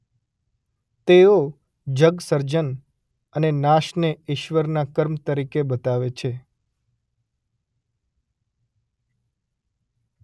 તેઓ જગસર્જન અને નાશને ઇશ્વરના કર્મ તરીકે બતાવે છે.